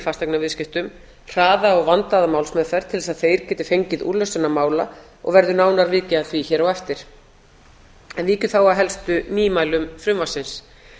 fasteignaviðskiptum hraða og vandaða málsmeðferð til þess að þeir geti fengið úrlausn sinna mála og verður nánar vikið að því hér á eftir víkjum að heldur nýmælum frumvarpsins